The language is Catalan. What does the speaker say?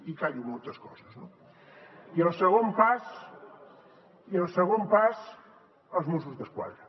i callo moltes coses no i el segon pas els mossos d’esquadra